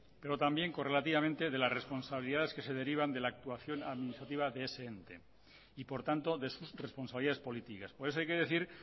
pero también correlativamente de las responsabilidades que se derivan de la actuación administrativa de ese ente y por tanto de sus responsabilidades políticas por eso hay que decir